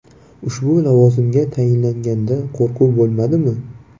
Ushbu lavozimga tayinlanganda qo‘rquv bo‘lmadimi?